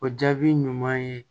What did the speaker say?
O jaabi ɲuman ye